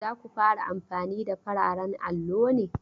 Za ku fara amfani da fararen allo ne?